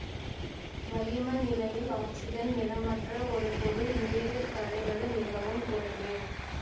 வளிம நிலையில் ஆக்சிசன் நிறமற்ற ஒரு பொருள் நீரில் கரைவது மிகவும் குறைவே